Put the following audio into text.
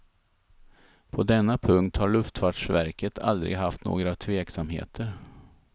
På denna punkt har luftfartsverket aldrig haft några tveksamheter.